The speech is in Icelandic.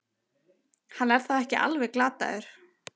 Hann er þá ekki alveg glataður!